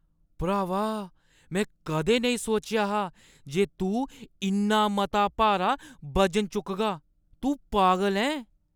भ्रावा! में कदें नेईं सोचेआ हा जे तूं इन्ना मता भारा बजन चुकगा, तूं पागल ऐं! !